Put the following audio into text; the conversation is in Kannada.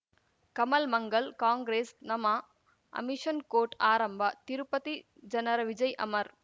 ಕಮಲ್ ಮಂಗಲ್ ಕಾಂಗ್ರೆಸ್ ನಮಃ ಅಮಿಷ್ನ್ ಕೋರ್ಟ್ ಆರಂಭ ತಿರುಪತಿ ಜನರ ವಿಜಯ ಅಮರ್